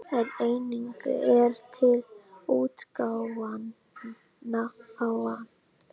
En einnig er til útgáfan